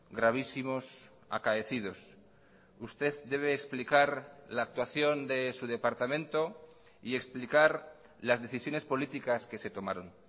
gravísimos acaecidos usted debe explicar la actuación de su departamento y explicar las decisiones políticas que se tomaron